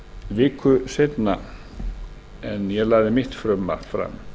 viku seinna en ég lagði mitt frumvarp fram